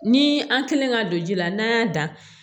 Ni an kɛlen ka don ji la n'an y'a dan